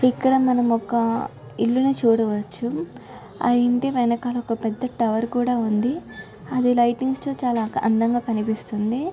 ఇక్కడ మనం ఒక ఇల్లు ని చూడ వచ్చు ఆ ఇంటివెనకాల ఒక పెద్ద టవర్ ఉంది.అది లైటింగ్స్ చాలా అందంగా కనిపిస్తుంది.